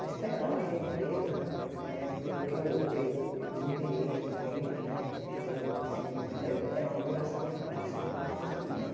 Eu esperava que a empresa né, pelo que eu eu eu desempenhei com eles né eu assim, primeiro era uma obrigação minha tratar o ser humano como ser humano.